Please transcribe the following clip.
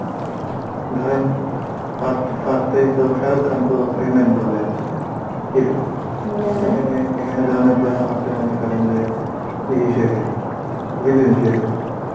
ধরেন, first first এই তো শাহরুখ খান তো role এ আছে, hero জন আব্রাহাম আছে মনেকরেন যে ইয়ে হিসাবে villain হিসাবে